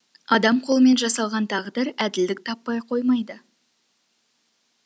адам қолымен жасалған тағдыр әділдік таппай қоймайды